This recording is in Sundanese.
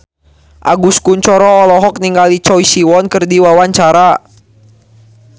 Agus Kuncoro olohok ningali Choi Siwon keur diwawancara